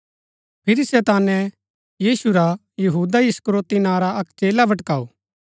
फिरी शैताने यीशु रा यहूदा इस्करियोती नां रा अक्क चेला भटकाऊँ